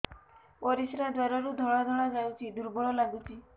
ପରିଶ୍ରା ଦ୍ୱାର ରୁ ଧଳା ଧଳା ଯାଉଚି ଦୁର୍ବଳ ଲାଗୁଚି